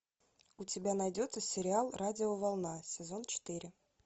у тебя найдется сериал радиоволна сезон четыре